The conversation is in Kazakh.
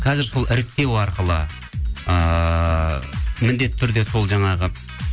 қазір сол іріктеу арқылы ыыы міндетті түрде сол жаңағы